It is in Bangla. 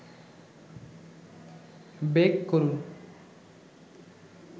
বেক করুন